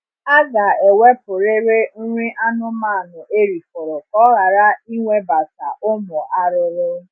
Aga ewepurịrị nri anụmanụ erifọrọ ka ọ ghara ịnwebata ụmụ arụrụ